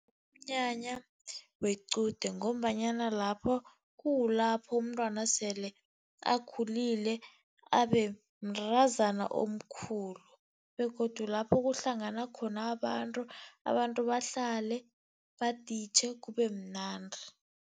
Umnyanya wequde, ngombanyana lapho kukulapho umntwana sele akhulile abe mntazana omkhulu., begodu lapho kuhlangana khona abantu, abantu bahlale baditjhe kube mnandi.